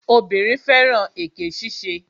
Obìnrin fẹ́ràn èké ṣíṣe